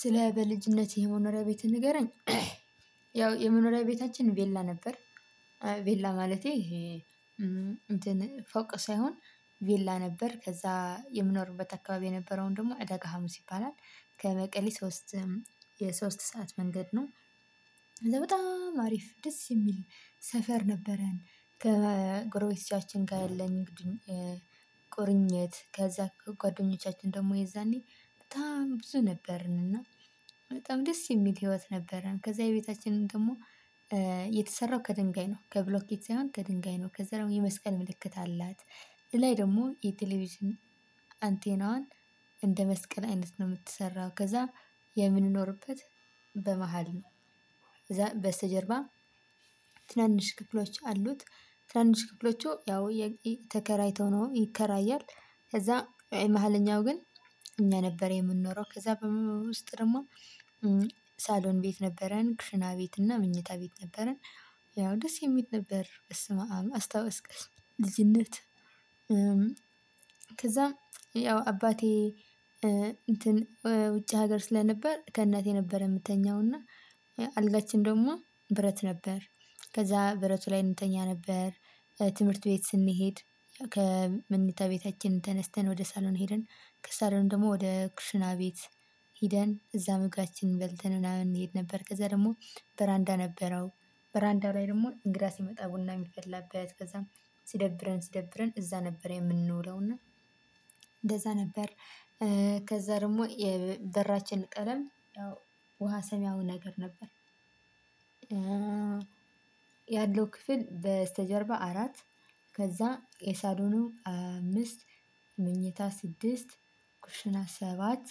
ስለ በልጅነቴ የመኖሪያ ቤታችን ንገረኝ ያው የመኖሪያ ቤታችን ቬላ ነበር። ቬላ ማለቴ። ፎቅ ሳይሆን ቬላ ነበር። ከዛ የምኖርበት አካባቢ የነበረውን ደግሞ አደጋ ሀሙስ ይባላል ከበቀሌ ሶስት የሶስት ሰዓት መንገድ ነው። ከዛ በጣም ሀሪፍ ደስ የሚል ሰፈር ነበረን ከጎረቤታችን ጋር ያለኝም። ቁርኝት ከዛ ጓደኞቻችን ደግሞ የዛኔ በጣም ብዙ ነበርን እና በጣም ደስ የሚል ህይወት ነበረን። ከዛ የቤታችንን ደግሞ የተሰራው ከድንጋይ ነው ከብሎኬት ሳይሆን ከድንጋይ ነው። ከዛ የመስቀል ምልክት አላት ለላይ ደግሞ የቴሌቪዥን አንቴናዋን እንደ መስቀል አይነት ነው የምትሰራው ከዛ። የምንኖርበት በመሃል ነው ከዛ በስተጀርባ ትናንሽ ክፍሎች አሉት። ትናንሽ ክፍሎቹ ያው የተከራይተው ነው ይከራያል። ከዛ የመሃለኛው ግን እኛ ነበር የምንኖረው ከዛ በሙሉ ውስጥ ደግሞ ሳሎን ቤት ነበረን ኩሽና ቤት እና ምኞታ ቤት ነበረን። ያው ደስ የሚል ነበር በስማማ አስታወስኩት ልጅነት። ከዛ ያው አባቴ እንትን ውጭ ሀገር ስለነበር ከእናቴ ነበር የምትተኛው እና አልጋችን ደግሞ ብረት ነበር። ከዛ ብረቱ ላይ እንተኛ ነበር። ትምህርት ቤት ስንሄድ ከመንታ ቤታችን ተነስተን ወደ ሳሎን ሄደን ከሳሎን ደግሞ ወደ ኩሽና ቤት ሄደን እዛ መግባታችንን በልተን ምናምን እንሄድ ነበር። ከዛ ደግሞ በራንዳ ነበረው በራንዳ ላይ ደግሞ እንግዳ ሲመጣ ቡና የሚፈላበት ከዛም ሲደብረን ሲደብረን እዛ ነበር የምንውለው እና እንደዛ ነበር። ከዛ ደግሞ የበራችን ቀለም ደግሞ ውሃ ሰማያዊይ ነበር። ያለው ክፍል በስተጀርባ አራት ከዛ የሳሎኑ አምስት ምኚታ ስድስት ኩሽና ሰባት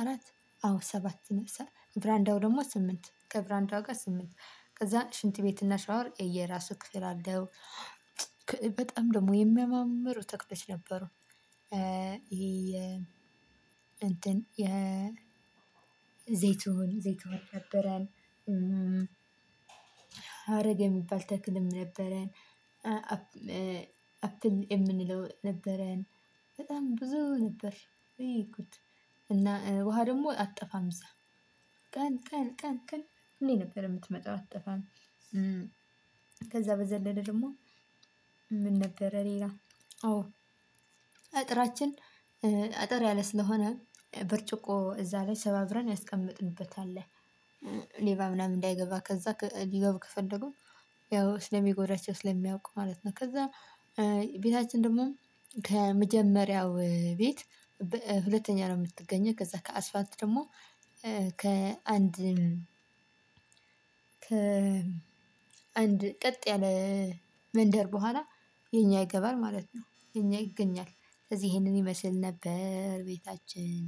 አራት አዎ ሰባት ነው። በረንዳው ደግሞ ስምንት ከበረንዳው ጋር ስምንት ከዛ ሽንት ቤት እና ሻወር የየራሱ ክፍል አለው። በጣም ደግሞ የሚያማምሩ ተክሎች ነበሩ። ይሄ እንትን ዘይቶን ዘይቶን ነበረን። ሀረግ የሚባል ተክልም ነበረን። አፕን የምንለው ነበረን። በጣም ብዙ ነበር ውይ ጉድ እና ውሃ ደግሞ አትጠፋም እዛ ቀን ቀን ቀን ቀን ሁሌ ነበር የምትመጣው አትጠፋም። ከዛ በዘለለ ደግሞ አዎ አጥራችን እጠር ያለ ስለነበር ብርጭቆ ሰባብረን አስቀምጠንበት ነበርሌባ እንዳይገባ ማለት ነው። ስለሚጎዳቸው ስለሚቁ። ቤታችን ደግሞ ከመጀመሪያው ቤት ሁለተኛ ነው የምትገኘው ከዛ ከአስባልቱ ደግሞ ከአንድ ከ አንድ ቀጥ ያለ መንደር በኋላ የኛ ይገባል ማለት ነው። የኛ ይገኛል ስለዚህ ይሄንን ይመስል ነበር ቤታችን።